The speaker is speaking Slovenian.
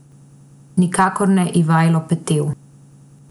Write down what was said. Nikakor ne Ivajlo Petev.